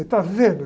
Está vendo?